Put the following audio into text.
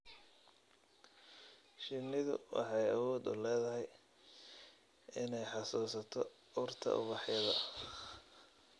Shinnidu waxay awood u leedahay inay xasuusato urta ubaxyada.